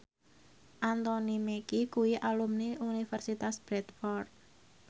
Anthony Mackie kuwi alumni Universitas Bradford